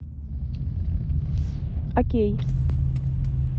окей